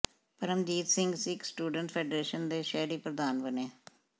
Paramjit Singh Sikh students federation ਦੇ ਸ਼ਹਿਰੀ ਪ੍ਰਧਾਨ ਬਣੇ